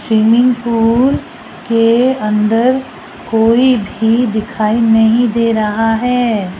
Swimming pool के अंदर कोई भी दिखाई नहीं दे रहा है।